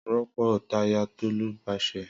Ropo taya Tolu pase.